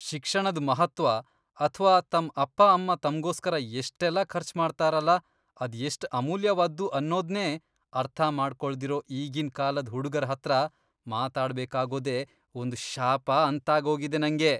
ಶಿಕ್ಷಣದ್ ಮಹತ್ತ್ವ ಅಥ್ವಾ ತಮ್ ಅಪ್ಪ ಅಮ್ಮ ತಮ್ಗೋಸ್ಕರ ಎಷ್ಟೆಲ್ಲ ಖರ್ಚ್ ಮಾಡ್ತಾರಲ ಅದ್ ಎಷ್ಟ್ ಅಮೂಲ್ಯವಾದ್ದು ಅನ್ನೋದ್ನೇ ಅರ್ಥ ಮಾಡ್ಕೊಳ್ದಿರೋ ಈಗಿನ್ ಕಾಲದ್ ಹುಡ್ಗುರ್ ಹತ್ರ ಮಾತಾಡ್ಬೇಕಾಗೋದೇ ಒಂದ್ ಶಾಪ ಅಂತಾಗೋಗಿದೆ ನಂಗೆ.